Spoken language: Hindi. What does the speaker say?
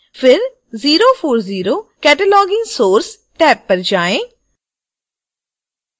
फिर 040 cataloging source टैब पर जाएँ